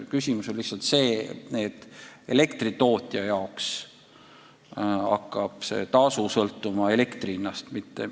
Asi on selles, et elektritootja jaoks hakkab see tasu sõltuma elektri hinnast.